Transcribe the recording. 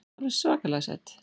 Alveg svakalega sæt.